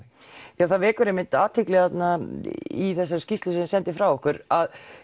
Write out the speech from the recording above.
það vekur athygli í skýrslunni sem þið sendið frá ykkur að